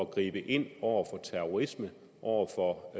gribe ind over for terrorisme over for